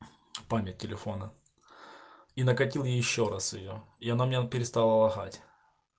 память телефона и накатил ещё раз её и она у меня перестала лагать